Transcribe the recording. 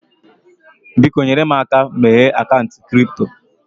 Biko, nyere m aka meghee akaụntụ kripto